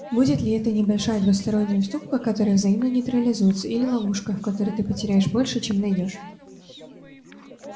будет ли это небольшая двусторонняя уступка которая взаимно нейтрализуется или ловушка в которой ты потеряешь больше чем найдёшь